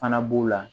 Fana b'u la